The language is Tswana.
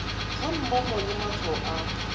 ga mmogo le matshwao a